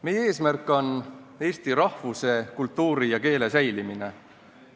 Meie eesmärk on Eesti rahvuse, kultuuri ja keele säilimine.